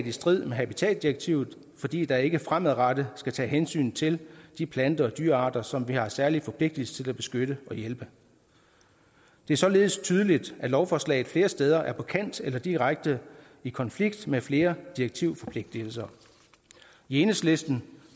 i strid med habitatdirektivet fordi der ikke fremadrettet skal tages hensyn til de planter og dyrearter som vi har en særlig forpligtelse til at beskytte og hjælpe det er således tydeligt at lovforslaget flere steder er på kant eller direkte i konflikt med flere direktivforpligtigelser i enhedslisten